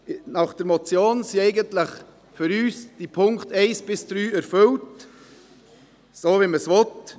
Nach der Motion sind für uns eigentlich die Punkte 1–3 erfüllt, so wie man es will.